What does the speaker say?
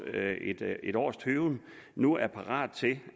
et års tøven nu er parat til